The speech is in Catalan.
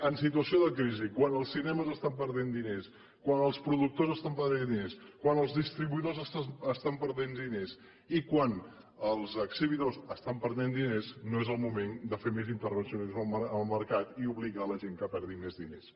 en situació de crisi quan els cinemes estan perdent diners quan els productors estan perdent diners quan els distribuïdors estan perdent diners i quan els exhibidors estan perdent diners no és el moment de fer més intervencionisme en el mercat i obligar la gent que perdi més diners